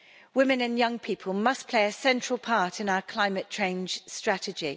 Women and young people must play a central part in our climate change strategy.